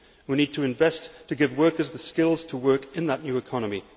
We need to invest to give workers the skills to work in that new economy.